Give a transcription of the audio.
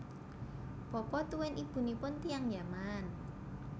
Bapa tuwin ibunipun tiyang Yaman